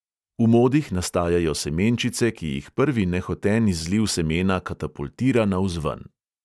V modih nastajajo semenčice, ki jih prvi nehoten izliv semena katapultira navzven.